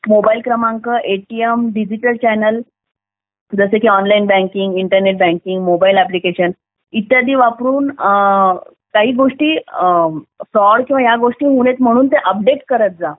mobile क्रमांक ATM digital mobile क्रमांक, ATM, digital channel जसं की online banking internet banking mobile application इत्यादी वापरून काही गोष्टी फ्रॉड वगैरे होऊ नये म्हणून ते अपडेट करत जा